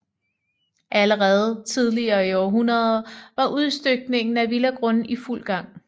Allerede tidligt i århundredet var udstykningen af villagrunde i fuld gang